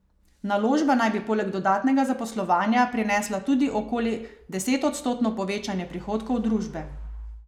Naložba naj bi poleg dodatnega zaposlovanja prinesla tudi okoli desetodstotno povečanje prihodkov družbe.